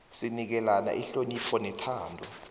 sinikelana ihonopho nethando